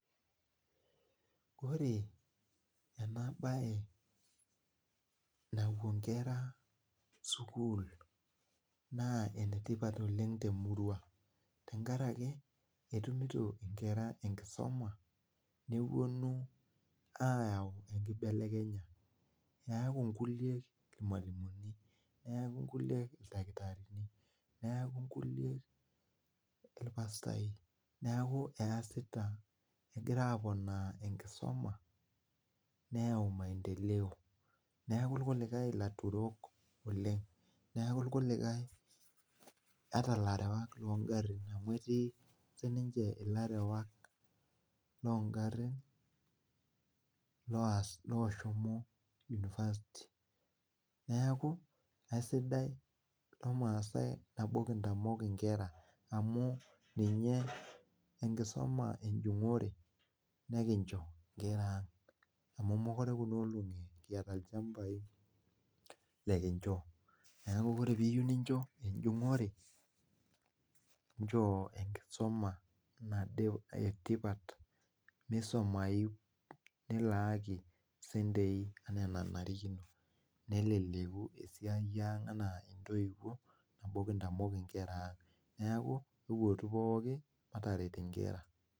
Ore ena bae napwo inkera sukuul naa enetipat oleng te murwa tenkaraki etumito inkera enkisoma, nepwonu aayau enkibelekenya. Eeku nkulie irmwalimuni, neeku inkulie ildakitarini, neeku inkulie irpastai, neeku easita egira aponaa enkisoma neyau maendeleo neeku irkulikae ilaturok oleng, neeku irkulikae ata ilarewak loo ngarrin amu etii siininche ilarewak loo ngarrin looshomo university. Neeku aisidai lomaasai nabo enekinteng'en inkera amu ninye, enkisuma enjung'ore nekincho inkera ang amu mokure kuna olong'i kiata ilchampai lekincho. Neeku ore piiyieu nincho enjung'ore nchoo enkisuma etipat misumayu nilaaki sentei enaa enanarikino neleleku esiai ang enaa intoiwuo amu kintamok inkera ang. Neeku ewuootu pookin mataret inkera